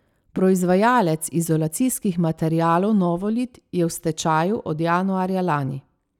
Proizvajalec izolacijskih materialov Novolit je v stečaju od januarja lani.